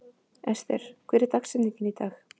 Ester, hver er dagsetningin í dag?